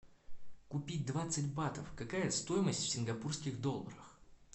купить двадцать батов какая стоимость в сингапурских долларах